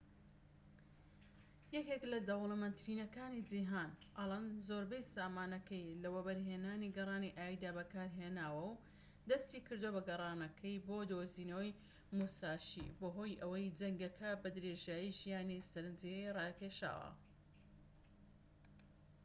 یەکێك لە دەولەمەندترینەکانی جیهان ئەڵەن زۆربەی سامانەکەی لە وەبەرهێنانی گەڕانی ئاویدا بەکارهێناوە و دەستی کردووە بە گەڕانەکەی بۆ دۆزینەوەی موساشی بەهۆی ئەوەی جەنگەکە بە درێژایی ژیانی سەرەنجی ڕاکێشاوە